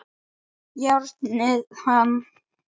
Járnið hann!